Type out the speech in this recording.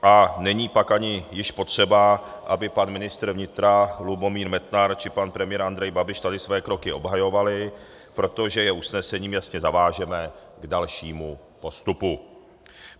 A není pak ani již potřeba, aby pan ministr vnitra Lubomír Metnar či pan premiér Andrej Babiš tady své kroky obhajovali, protože je usnesením jasně zavážeme k dalšímu postupu.